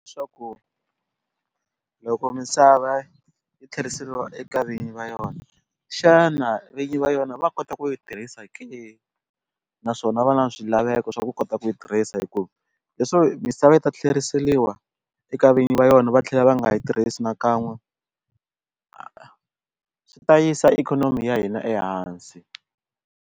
loko misava yi tlheriseriwa eka vinyi va yona xana vinyi va yona va kota ku yi tirhisa ke naswona va na swilaveko swa ku kota ku yi tirhisa hi ku leswaku misava yi ta tlheriseriwa eka vinyi va yona va tlhela va nga yi tirhisi nakan'we swi ta yisa ikhonomi ya hina ehansi.